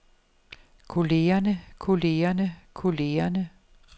kollegerne kollegerne kollegerne